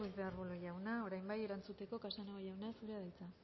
ruiz de arbulo jauna orain bai erantzuteko casanova jauna zurea da hitza